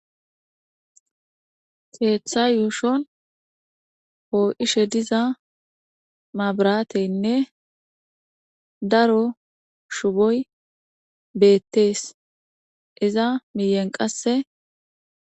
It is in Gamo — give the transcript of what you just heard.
Keeththaa yushuwa poo7ishe diza maabraatheenne daro shuboy beeththees; iza miyen qassi.